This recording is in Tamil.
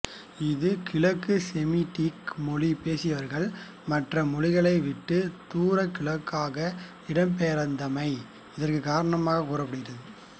இது கிழக்கு செமிடிக் மொழி பேசியவர்கள் மற்ற மொழிகளை விட்டு தூர கிழக்காக இடம்பெயர்ந்தமை இதற்கு காரணமாக கூறப்படுகிறது